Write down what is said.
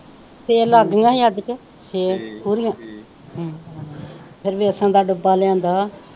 ਛੇ ਲੱਗ ਗਈਆਂ ਹੀ ਅੱਜ ਕੇ ਛੇ ਪੂਰੀਆਂ ਫਿਰ ਵੈਸਨ ਦਾ ਡੱਬਾ ਲਿਆਂਦਾ ਆ।